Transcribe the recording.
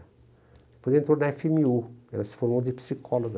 Depois entrou na efe eme u, ela se formou de psicóloga.